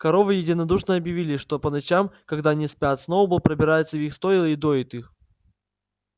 коровы единодушно объявили что по ночам когда они спят сноуболл пробирается в их стойла и доит их